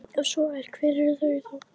Ef svo er, hver eru þá þau áhrif?